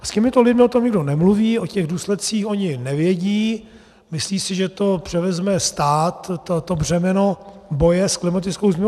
S těmito lidmi o tom nikdo nemluví, o těch důsledcích oni nevědí, myslí si, že to převezme stát, to břemeno boje s klimatickou změnou.